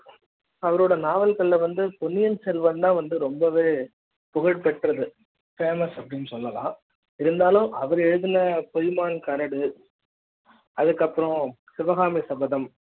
அவரோட நாவல்கள் வந்து பொன்னியன் செல்வன் தா வந்து ரொம்பவே புகழ்பெற்றது famous அப்படின்னு சொல்லலாம் இருந்தாலும் அவர் எழுதுண பொய்மான் கரடு அதுக்கு அப்பறம் சிவகாமி சபதம்